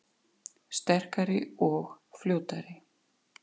Sterkari og fljótari